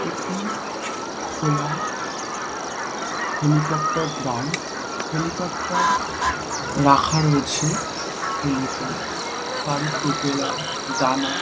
একটি খোলা helicopter ground helicopter রাখা রয়েছে হেলিপ্যাড তারই প্রপেলার ডানা।